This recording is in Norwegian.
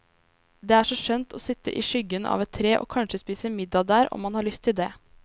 Det er så skjønt å sitte i skyggen av et tre, og kanskje spise middag der om man har lyst til det.